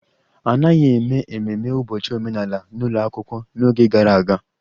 A naghị eme ememe ụbọchị omenala n'ụlọ akwụkwọ n'oge gara aga